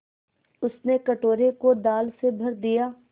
उसने कटोरे को दाल से भर दिया